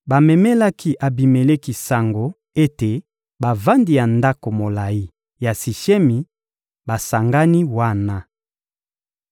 Bamemelaki Abimeleki sango ete bavandi ya ndako molayi ya Sishemi basangani wana.